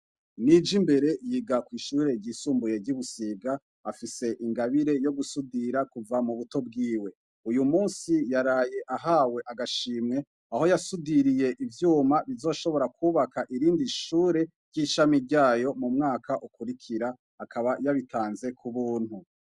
Nijimbere yiga kw ishure ryisumbuye ryi Busiga afise ingabire yo gu sudira kuva mu buto bwiwe uyumunsi yaraye ahawe agashimwe aho yasudiriye ivyuma bizoshobora kubaka irindi shure ryishami ryayo mu mwaka ukuri kira akaba yabitanze kubuntu.